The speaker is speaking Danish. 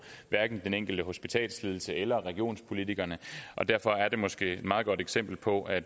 den enkelte hospitalsledelse eller regionspolitikerne og derfor er det måske et meget godt eksempel på at